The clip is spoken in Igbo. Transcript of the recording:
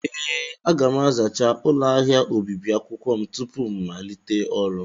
Ee, aga m azachaa ụlọ ahịa obibi akwụkwọ m tupu m malite ọrụ.